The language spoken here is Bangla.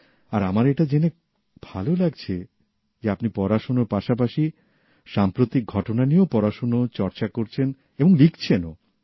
আর আমার এটা জেনে ভালো লাগছে যে আপনি পড়াশোনার পাশাপাশি সাম্প্রতিক ঘটনা নিয়েও পড়াশোনা চর্চা করছেন এবং লিখছেনও